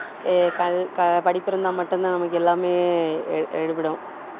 ஏ~ கல்~ அஹ் படிப்பு இருந்தா மட்டும்தான் நமக்கு எல்லாமே ஆஹ் எடுபடும்